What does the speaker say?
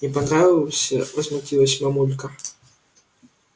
не понравился возмутилась мамулька